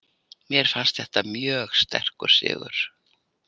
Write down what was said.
Mér fannst þetta mjög sterkur sigur.